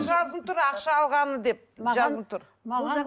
жазылып тұр ақша алғанмын деп жазылып тұр